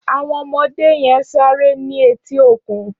Áwòn òmòdé yèn sàré ni éti ókún